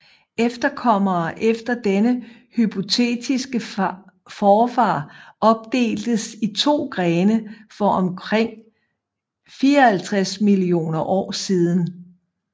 Efterkommere efter denne hypotetiske forfar opdeltes i to grene for omkring 54 millioner år siden